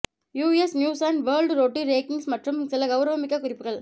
US news and world report rankings மற்றும் சில கௌரவமிக்க குறிப்புகள்